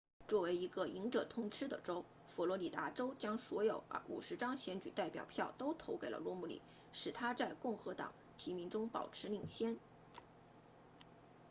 作为一个赢者通吃的州佛罗里达州将所有50张选举代表票都投给了罗姆尼使他在共和党提名中保持领先